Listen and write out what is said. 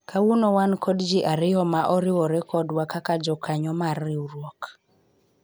kawuono wan kod jii ariyo ma oriwore kodwa kaka jokanyo mar riwruok